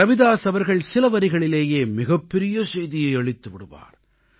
ரவிதாஸ் அவர்கள் சில வரிகளிலேயே மிகப்பெரிய செய்தியை அளித்து விடுவார்